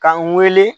K'an wele